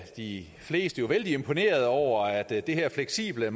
de fleste jo vældig imponerede over at det her fleksible